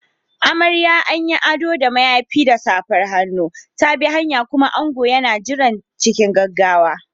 Amarya, an yi ado da mayafi da safar hannu, ta bi hanya, kuma ango yana jira cikin gaggawa.